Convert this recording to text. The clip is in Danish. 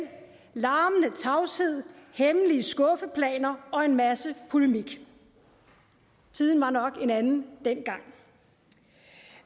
larmende tavshed hemmelige skuffeplaner og en masse polemik tiden var nok en anden dengang